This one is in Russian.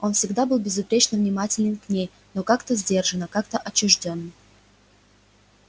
он всегда был безупречно внимателен к ней но как-то сдержанно как-то отчуждённо